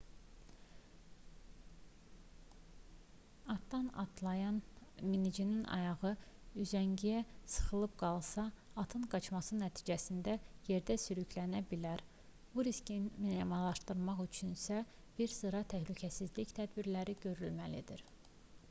atdan atlayan minicinin ayağı üzəngiyə sıxışıb qalsa atın qaçması nəticəsində yerdə sürüklənə bilər bu riski minimallaşdırmaq üçünsə bir sıra təhlükəsizlik tədbirləri görülməlidir